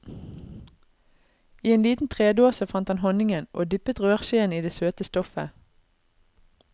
I en liten tredåse fant han honningen, og dyppet røreskjeen i det søte stoffet.